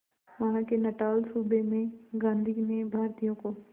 वहां के नटाल सूबे में गांधी ने भारतीयों को